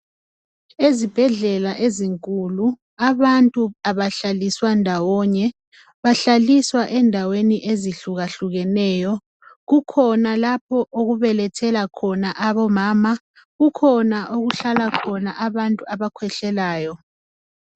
Ezibhedlela ezinkulu, abantu abahlaliswa ndawonye, bahlaliswa ezindaweni ezihlukahlukaneyo. Kukhona lapho okubelethela khona abomama, kukhona okuhlala khona abakhwehlelayo.